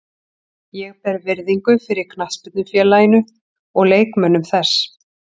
Ég ber virðingu fyrir knattspyrnufélaginu og leikmönnum þess.